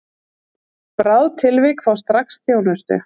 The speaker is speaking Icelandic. Bráð tilvik fá strax þjónustu